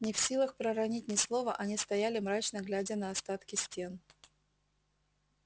не в силах проронить ни слова они стояли мрачно глядя на остатки стен